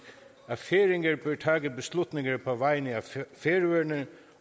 at færinger bør tage beslutninger på vegne af færøerne